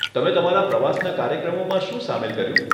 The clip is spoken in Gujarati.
તમે તમારા પ્રવાસના કાર્યક્રમોમાં શું સામેલ કર્યું?